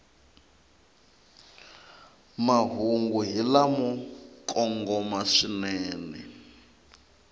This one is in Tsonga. mahungu hi lamo kongoma swinene